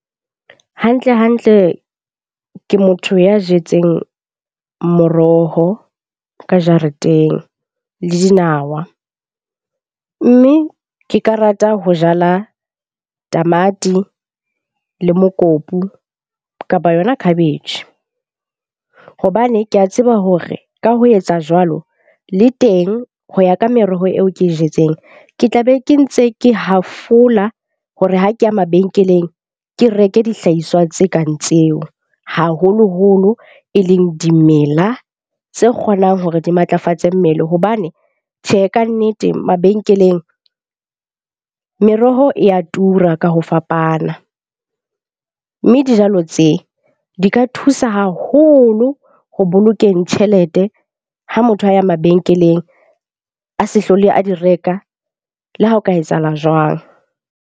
Hantle hantle ke motho ya jetseng moroho ka jareteng le dinawa. Mme ke ka rata ho jala tamati le mokopu kapa yona khabetjhe. Hobane ke a tseba hore ka ho yetsa jwalo le teng ho ya ka meroho eo ke e jetseng, ke tla be ke ntse ke hafola ho re ha keya mabenkeleng. Ke reke dihlahiswa tse kang tseo haholoholo e leng dimela, tse kgonang hore di matlafatse mmele. Hobane tjhe kannete mabenkeleng, meroho e ya tura ka ho fapana. Mme dijalo tse di ka thusa haholo ho bolokeng tjhelete ha motho a ya mabenkeleng a se hlole a di reka, le ha ho ka etsahala jwang.